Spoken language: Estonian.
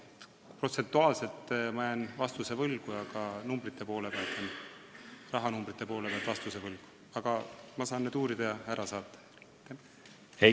Protsentuaalselt ja rahanumbrite poole pealt jään vastuse võlgu, aga ma saan need andmed välja uurida ja teile saata.